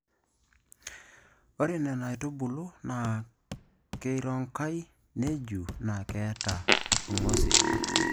Ore Nna aitubului naa keironkai, neju naa keeta rng'osil.